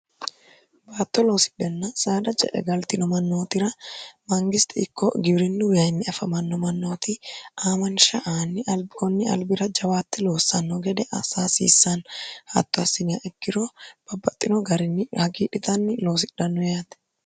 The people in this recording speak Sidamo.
baatto loosidhenna saada ce'e galtino mannootira mangisti ikko gibirinnu wiimmi afamanno mannooti aamansha aanni albioonni albira jawaatte loossanno gede asaasiissaan hatto assiniya ikkiro babbaxxino garinni hagiidhitanni loosidhannoeate